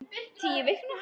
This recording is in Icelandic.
Tíu vikna